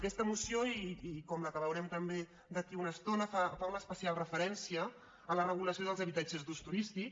aquesta moció com la que veurem també d’aquí a una estona fa una especial referència a la regulació dels habitatges d’ús turístic